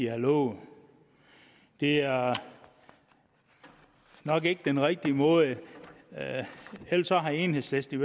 har lovet det er nok ikke den rigtige måde eller så har enhedslisten